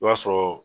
I b'a sɔrɔ